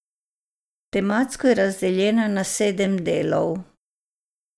Tematsko je razdeljena na sedem delov.